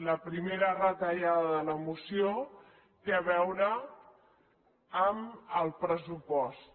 la primera retallada de la moció té a veure amb el pressupost